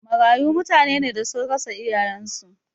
Marayu mutane ne da sun rasa iyayen su